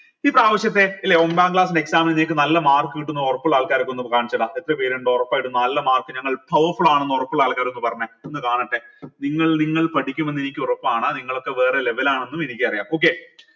ഇപ്രാവിശ്യത്തെ ലെ ഒമ്പതാം class exam ൽ നിങ്ങൾക്ക് നല്ല mark കിട്ടുന്ന് ഉറപ്പുള്ള ആൾക്കാരൊക്കെ ഒന്ന് കാണിച്ചെട എത്ര പേരിണ്ട് ഉറപ്പായിട്ടും നല്ല mark ഞങ്ങൾ powerful ആണെന്ന് ഒറപ്പുള്ള ആൾക്കാർ ഒന്ന് പറഞ്ഞെ ഒന്ന് കാണട്ടെ നിങ്ങൾ നിങ്ങൾ പഠിക്കുമെന്ന് എനിക്കുറപ്പാണ് നിങ്ങളൊക്കെ വേറെ level ആണെന്നും എനിക്കറിയാം okay